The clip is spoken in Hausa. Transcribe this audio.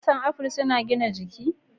Ka san apple suna gina jiki?